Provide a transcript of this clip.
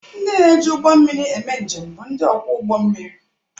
Ndị na-eji ụgbọ mmiri eme njem bụ ndị ọkwọ ụgbọ mmiri.